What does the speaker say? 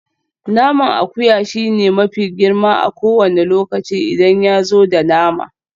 Naman akuya shine mafi girma a kowane lokaci idan yazo da nama.